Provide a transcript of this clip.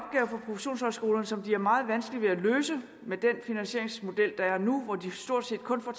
professionshøjskolerne som de har meget vanskeligt ved at løse med den finansieringsmodel der er nu hvor de stort set kun får